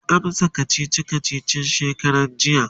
waya amsa kachichi kachichin shekaran jiya?